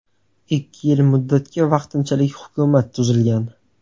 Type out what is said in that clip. Ikki yil muddatga vaqtinchalik hukumat tuzilgan.